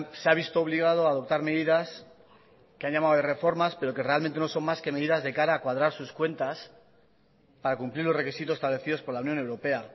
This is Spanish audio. se ha visto obligado a adoptar medidas que han llamado reformas pero que realmente no son más que medidas de cara a cuadrar sus cuentas para cumplir los requisitos establecidos por la unión europea